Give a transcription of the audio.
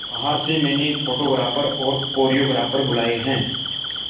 बाहर से मैंने फोटोग्राफर और कोरियोग्राफर बुलाये है